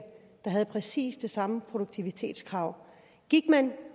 der havde præcis det samme produktivitetskrav gik man